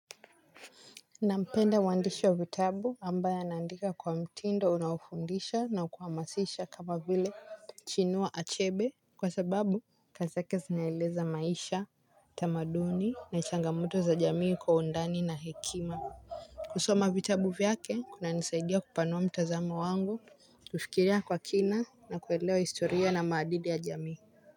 Nampenda mwandishi wa vitabu ambaye anaandika kwa mtindo unaofundisha na kuhamasisha kama vile chinua achebe kwa sababu kazi yake zinaeleza maisha tamaduni na changamuto za jamii kwa undani na hekima kusoma vitabu vyake kunanisaidia kupanua mtazamo wangu, kufikiria kwa kina na kuelewa historia na maadili ya jamii.